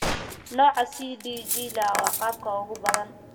Nooca CDG IA waa qaabka ugu badan.